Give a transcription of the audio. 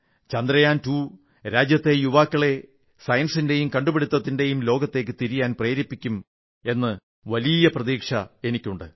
ചന്ദ്രയാൻ 2 രാജ്യത്തെ യുവാക്കളെ സയൻസിന്റെയും കണ്ടുപിടുത്തത്തിന്റെയും ലോകത്തേക്ക് തിരിയാൻ പ്രേരിപ്പിക്കും എന്ന വലിയ പ്രതീക്ഷ എനിക്കുണ്ട്